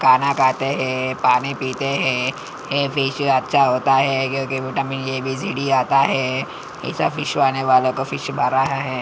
काना खाते है पानी पीते है ए फिश अच्छा होता है क्युकी vitamin A B C D आता है इसे फिश खाने वाले का फिश भरा है।